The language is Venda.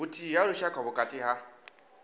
vhuthihi ha lushaka vhukati ha